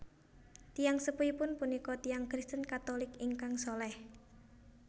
Tiyang sepuhipun punika tiyang Kristen Katulik ingkang salèh